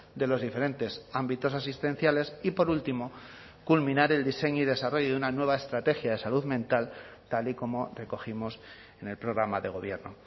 de los diferentes ámbitos asistenciales y por último culminar el diseño y desarrollo de una nueva estrategia de salud mental tal y como recogimos en el programa de gobierno